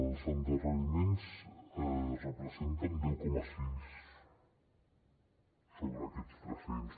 els endarreriments representen deu coma sis sobre aquests tres cents